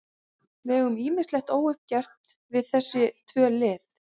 Við eigum ýmislegt óuppgert við þessi tvö lið.